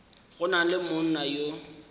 go na le monna yo